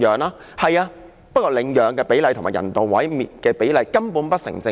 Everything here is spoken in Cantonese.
不過，各位，領養的比例與人道毀滅的比例，根本不成正比。